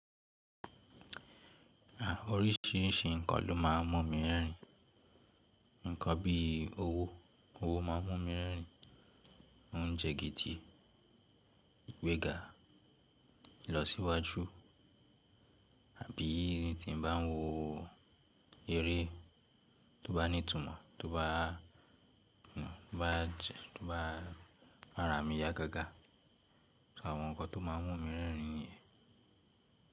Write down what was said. À, orísìírísìí nǹkan lo máa ń mú mi rẹ́rìn-ín. Nǹkan bíi owó, owó máa ń mú mi rẹ́rín, óńjẹ́ gidi, ìgbéga ìlọsíwájú, àbí n tí n bá ń wo eré tó bá ní ìtumọ̀, tó bá, tó bá jẹ tó bá mà ara mí yá gágá. So àwọn nǹkan tó máa ń mú mi rẹ́rìn nìyẹn.